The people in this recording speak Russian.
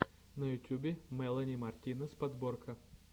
на ютюбе мелани мартинес подборка